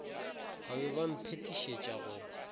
ba be ba mphetišetša go